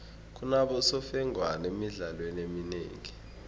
kunabosemfengwana emidlalweni eminengi